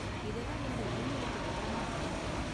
இதெல்லாம் என்னோட இமெயிலுக்கு விவரமா அனுப்ப முடியுமா?